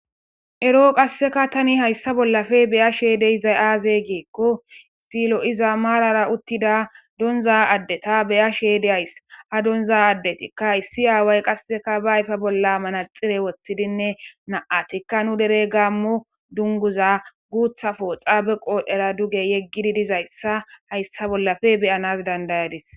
Eroo qasseka tani hayssa bollafe beya sheedeyizay aaze geekko istilo iza maalara uttida donza addeta beya sheyeyde ays ha donza addetikka issi aaway qasseka ba ayfa bolla manaxire woththidinne na'atikka nu derey gaammo dunguza guutha pooxa be qoodhera duge yeggidi dizayssa hayssa bollafe beyanas dandayadis.